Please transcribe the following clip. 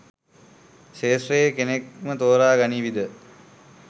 ක්ෂේත්‍රයේ කෙනෙක්ම තෝරා ගනිවීද?